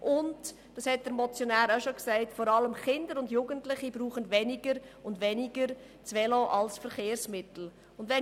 Und wie der Motionär auch schon gesagt hat, brauchen vor allem Kinder und Jugendliche das Velo als Verkehrsmittel immer weniger.